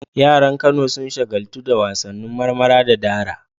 Yaran Kano sun shagaltu da wasannin marmara da dara.